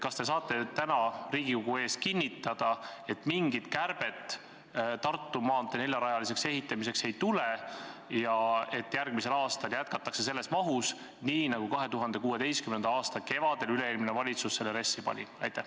Kas te saate täna Riigikogu ees kinnitada, et mingit kärbet Tartu maantee neljarajaliseks ehitamiseks ettenähtud summalt ei tule ja et järgmisel aastal jätkatakse selles mahus, nii nagu 2016. aasta kevadel üle-eelmine valitsus selle RES-i pani?